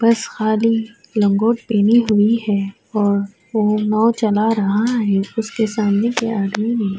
بس خالی لنگوٹ پہنے ہوئے ہے اور وو ناؤ چلا رہا ہے اسکے سامنے ایک آدمی ہے۔